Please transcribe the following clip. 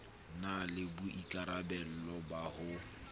na le boikarabelo ba ho